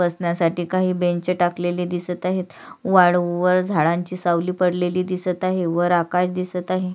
बसण्यासाठी काही बेंच टाकलेले दिसत आहेत वाळूवर झाडांची सावली पडलेली दिसत आहे वर आकाश दिसत आहे.